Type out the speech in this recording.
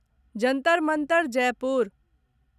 Jantar Mantar Jaipur